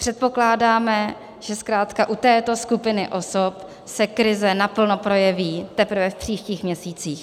Předpokládáme, že zkrátka u této skupiny osob se krize naplno projeví teprve v příštích měsících.